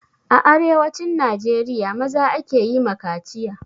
A arewacin najeriya, maza ake yi ma kaciya.